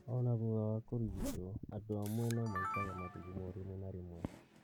Ona thutha wa kũrigitwo, andũ amwe no maitaga mathugumo rimwe na rĩmwe